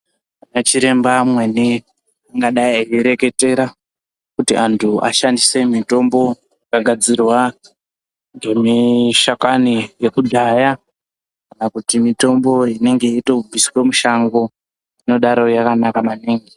Ana chiremba amweni angadai eireketera kuti anthu ashandise mitombo yakagadzirwa nemashakani ekudhaya kana kuti mitombo inenge yeitobviswa mushango inodaro yakanaka maningi.